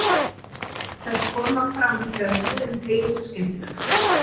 Þær koma fram þegar húðin teygist skyndilega.